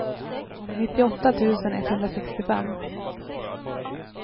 nittioåtta tusen etthundrasextiofem